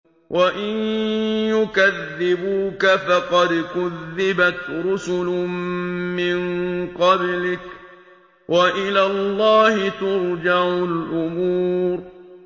وَإِن يُكَذِّبُوكَ فَقَدْ كُذِّبَتْ رُسُلٌ مِّن قَبْلِكَ ۚ وَإِلَى اللَّهِ تُرْجَعُ الْأُمُورُ